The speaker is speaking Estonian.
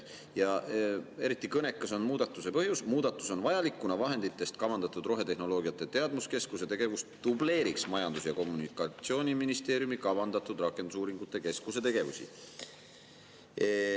Ja eriti kõnekas on muudatuse põhjus: muudatus on vajalik, kuna vahenditest kavandatud rohetehnoloogiate teadmuskeskuse tegevus dubleeriks Majandus‑ ja Kommunikatsiooniministeeriumi kavandatud rakendusuuringute keskuse tegevusi.